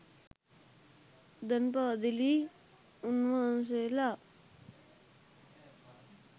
දැන් පාදිලි උන්නාන්සේලා